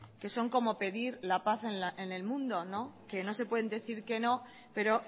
que son como pedir la paz en el mundo que no se pueden decir que no pero